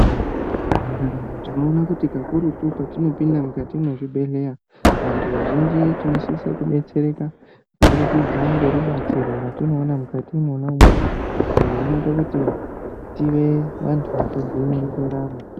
Mundaramo tinoona kuti kakurutu ketinopinda mukati mwezvibhehlera, vantu vazhinji tinosisa kudetsereka kubudikidza ngerubatsiro ratinoona mukati mwonamwo izvo zvinoita kuti tive vantu vakajaira ndaramo.